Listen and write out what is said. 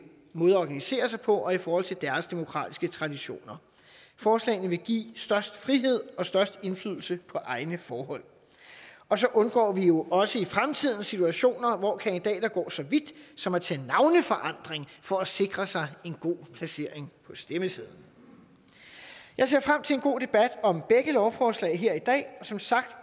måde at organisere sig på og i forhold til deres demokratiske traditioner forslagene vil give størst frihed og størst indflydelse på egne forhold og så undgår vi jo også i fremtiden situationer hvor kandidater går så vidt som at tage navneforandring for at sikre sig en god placering på stemmesedlen jeg ser frem til en god debat om begge lovforslag her i dag og som sagt